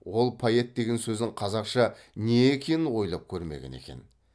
ол поэт деген сөзің қазақша не екенін ойлап көрмеген екен